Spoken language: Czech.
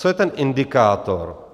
Co je ten indikátor?